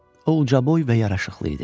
O ucaboy və yaraşıqlı idi.